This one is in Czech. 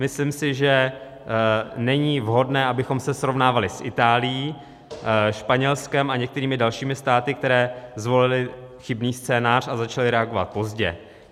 Myslím si, že není vhodné, abychom se srovnávali s Itálií, Španělskem a některými dalšími státy, které zvolily chybný scénář a začaly reagovat pozdě.